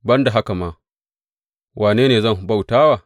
Ban da haka ma, wane ne zan bauta wa?